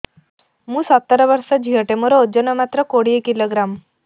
ମୁଁ ସତର ବର୍ଷ ଝିଅ ଟେ ମୋର ଓଜନ ମାତ୍ର କୋଡ଼ିଏ କିଲୋଗ୍ରାମ